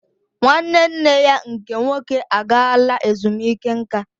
Nwanne nne ya nke nwoke agaala ezumike nka